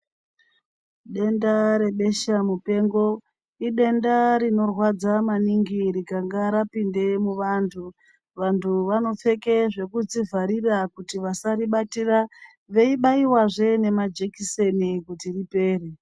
Denda rebasha mupengo idenda rinorwadza maningi rikange rapinde muvantu. Vantu vanopfeke dzekuzvivharira kuti vasaribatira veibaivazve nemajekiseni kuti ripere.